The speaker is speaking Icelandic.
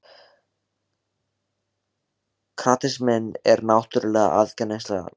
Kratisminn er náttúrlega aðgengilegasta stjórnmálastefna sem til er, sagði Sigurður.